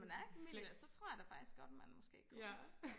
flex ja